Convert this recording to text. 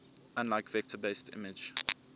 unlike vector based image